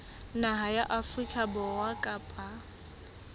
naha ya afrika borwa kapa